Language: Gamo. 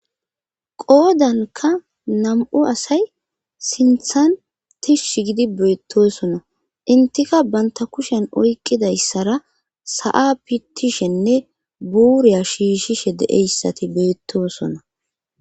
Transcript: qoodanka nam7u asay sinthan tishshi gidi beettosona intika banta kushen oyqqidayssara sa7a pitishenne buuriya shiishshishe de7eyssati beettosona